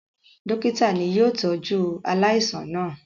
Dọ́kítá ni yóò tọ́jú aláìsàn náà.